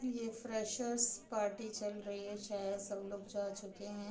ये freshers party चल रही है शायद सब लोग जा चुके हैं।